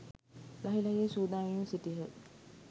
ලහි ලහියේ සූදානම් වෙමින් සිටියහ.